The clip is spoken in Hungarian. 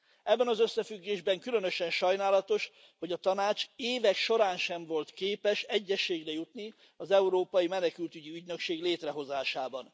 Ebben az összefüggésben különösen sajnálatos, hogy a Tanács az évek során sem volt képes egyezségre jutni az Európai Menekültügyi Ügynökség létrehozásában.